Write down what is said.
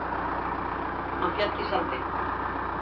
Hann féll í sandinn.